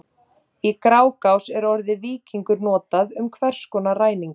Í Grágás er orðið víkingur notað um hvers konar ræningja.